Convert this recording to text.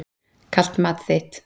Kalt mat þitt.